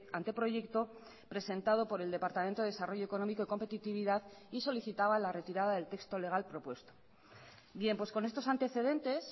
anteproyecto presentado por el departamento de desarrollo económico y competitividad y solicitaba la retirada del texto legal propuesto bien pues con estos antecedentes